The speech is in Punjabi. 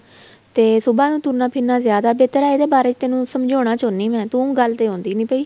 ਤੇ ਸੁਭਾ ਨੂੰ ਤੁਰਨਾ ਫਿਰਨਾ ਜਿਆਦਾ ਬਿਹਤਰ ਏ ਇਹਦੇ ਬਾਰੇ ਤੈਨੂੰ ਸਮਝਾਉਣ ਚਾਹੁੰਦੀ ਆ ਮੈਂ ਤੂੰ ਗੱਲ ਤੇ ਆਉਦੀ ਨਹੀਂ ਪਈ